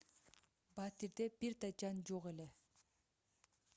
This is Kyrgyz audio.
батирде бир да жан жок эле